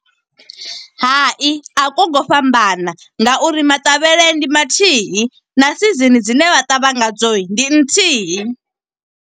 Hai, a ku ngo fhambana nga uri maṱavhele ndi mathihi, na season dzine vha ṱavha ngadzo, ndi nthihi.